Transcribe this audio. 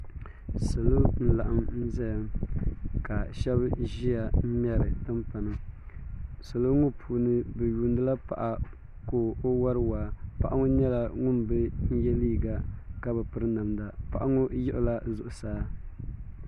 salo n laɣim n zaya ka shaba ʒia n ŋmɛri timpana salo ŋɔ puuni bɛ yuuni la paɣa ka o wari waa paɣa ŋɔ nyɛ ŋun bi ye liiga ka bi piri namda paɣa ŋɔ yiɣila zuɣusaa